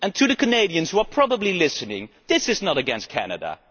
And let me say to the Canadians, who are probably listening, this is not against Canada.